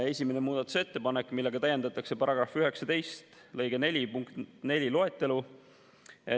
Esimese muudatusettepanekuga täiendatakse § 19 lõike 4 punkti 4 loetelu.